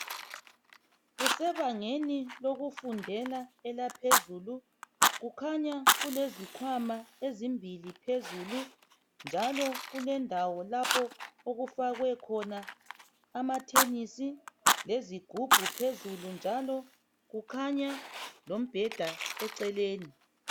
Kusebangeni lokufundela elaphezulu kukhanya kulezikhwama ezimbili phezulu njalo kulendawo lapho okufakwe khona amathenesi lezigubhu phezulu njalo kukhanya lombheda eceleni.